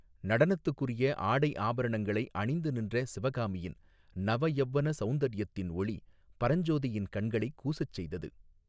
நடனத்துக்குரிய ஆடை ஆபரணங்களை அணிந்து நின்ற சிவகாமியின், நவ யௌவன சௌந்தர்யத்தின் ஒளி, பரஞ்சோதியின் கண்களைக் கூசச் செய்தது.